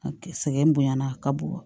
A sɛgɛn bonyana a ka bon wa